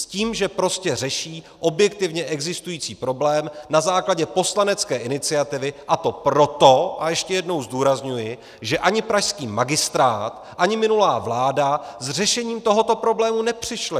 S tím, že prostě řeší objektivně existující problém na základě poslanecké iniciativy, a to proto - a ještě jednou zdůrazňuji - že ani pražský magistrát, ani minulá vláda s řešením tohoto problému nepřišly.